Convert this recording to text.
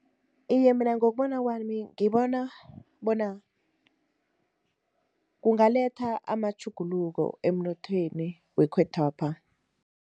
Iye, mina ngokubona kwami ngibona bona, kungaletha amatjhuguluko emnothweni wekhethwapha.